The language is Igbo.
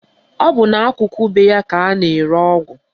Ọ bụ n'akụkụ be ya ka a na-ere ọgwụ